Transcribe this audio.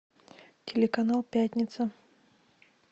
телеканал пятница